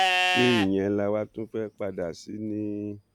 ṣé ìyẹn la wáá tún fẹẹ padà sí ni